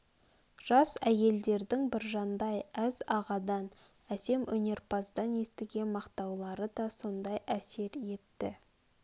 жас әйелдердің біржандай әз ағадан әсем өнерпаздан естіген мақтаулары да сондай әсер етті